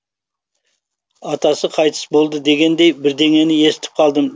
атасы қайтыс болды дегендей бірдеңені естіп қалдым деді жымсыңбай